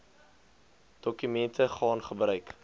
dokumente gaan gebruik